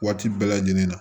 Waati bɛɛ lajɛlen na